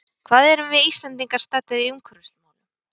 Hvar erum við Íslendingar staddir í umhverfismálum?